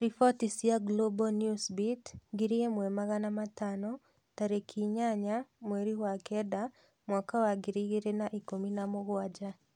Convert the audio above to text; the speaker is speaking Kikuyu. Ripoti cia Global Newsbeat ngiri ĩmwe magana matano tarĩki inyanya mweri wa Kenda mwaka wa ngiri igĩri na ikũmi na mũgwaja